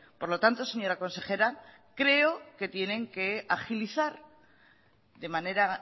por lo tanto señora consejera creo que tienen que agilizar de manera